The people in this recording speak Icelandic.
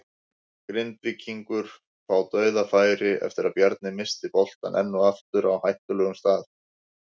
Grindvíkingar fá DAUÐAFÆRI eftir að Bjarni missti boltann enn og aftur á hættulegum stað!